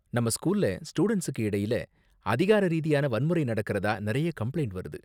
நம்ம ஸ்கூல்ல ஸ்டூடண்ட்ஸுக்கு இடையில அதிகார ரீதியான வன்முறை நடக்கறதா நிறைய கம்ப்ளைண்ட் வருது.